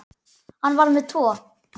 Hann var með tvo.